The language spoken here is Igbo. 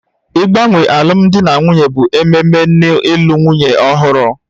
Ịgbanwe alụmdi na nwunye bụ ememe n'ịlụ nwunye ọhụrụ